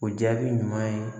O jaabi ɲuman ye